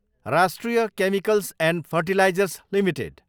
राष्ट्रिय Chemicals and Fertilizers limited